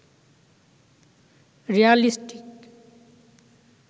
realistic